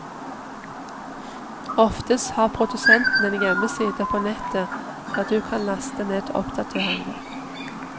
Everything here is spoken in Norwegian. Oftest har produsenten en hjemmeside på nettet der du kan laste ned oppdateringer.